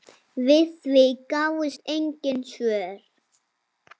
Við því gáfust engin svör.